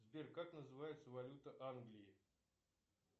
сбер как называется валюта англии